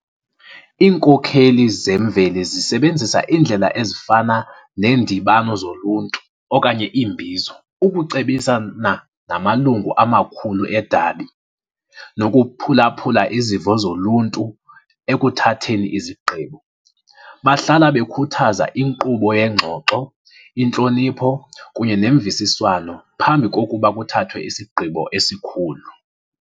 Iinkokheli zemveli zisebenzisa iindlela ezifana neendibano zoluntu okanye iimbizo ukucebisana namalungu amakhulu edabi nokuphulaphula izimvo zoluntu ekuthatheni izigqibo. Bahlala bakhuthaza inkqubo yengxoxo, intlonipho kunye nemvisiswano phambi kokuba kuthathwe isigqibo esikhulu.